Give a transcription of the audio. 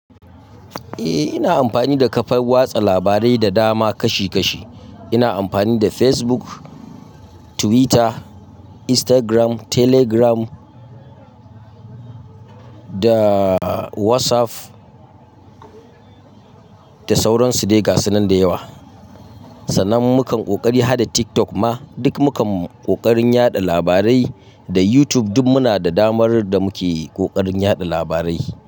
Eh, ina amfani da kafar watsa labarai da dama kashi-kashi. Ina amfani da Facebook, Twitter, Instagram, Telegram da WhatsApp da sauran su dai gasu nan da yawa. Sannan mukan ƙoƙarin hada TikTok ma duk mukan ƙoƙarin yaɗa labarai da YouTube duk muna da damar da muke ƙoƙarin yaɗa labarai.